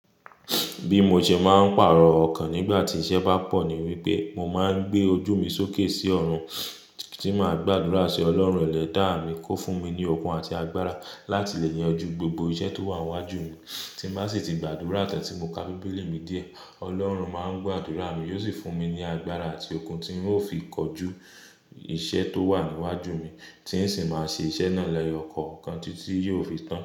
Bí mo sẹ máa ń pàrọ̀ ọkàn nígbà tí iṣẹ́ bá pọ̀ ní wípé mo máa ń gbé ojú mi sókè sí ọ̀run tí máa gbàdúrà sí Ọlọ́run ẹlẹ́dàá mi kó fún mi ní okun àti agbára láti lè yanjú gbogbo iṣẹ́ tó wà níwájú mi. Tí bá sì ti gbàdúrà tan tí mo ka Bíbélì mi díẹ̀, Ọlọ́run máa ń gbàdúrà mi, yóò sì fún mi ní agbára àti okun tí ń ó fi kọjú iṣẹ́ tó wà níwájú mi tí ń sì máa ṣe iṣẹ́ náà lẹ́yọ̀ ọkọ̀ kan títí yóò fi tán.